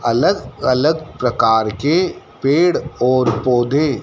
अलग अलग प्रकार के पेड़ और पौधे--